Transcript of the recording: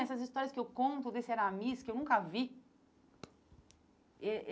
Essas histórias que eu conto desse Eramis, que eu nunca vi.